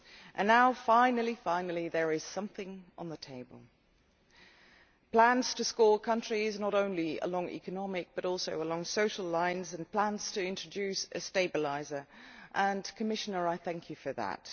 and now, finally, there is something on the table plans for rating countries not only along economic lines, but also along social lines, and plans to introduce a stabiliser. Commissioner, I thank you for this.